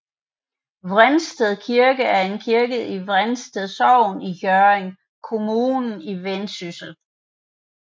Vrensted Kirke er en kirke i Vrensted Sogn i Hjørring Kommune i Vendsyssel